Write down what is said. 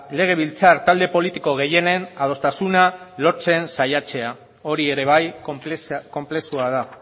legebiltzar talde politiko gehienen adostasuna lortzen saiatzea hori ere bai konplexua da